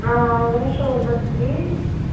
аа ворошилова двадцать девять